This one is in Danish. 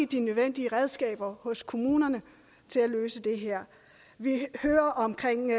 de nødvendige redskaber hos kommunerne til at løse det her vi hører omkring